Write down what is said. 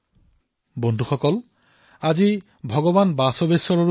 বন্ধুসকল আজি ভগৱান বশৱেশ্বৰজীৰো জয়ন্তী